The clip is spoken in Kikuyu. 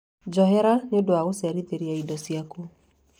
Njohera nĩ ũndũ wa gũcerithĩria indo ciaku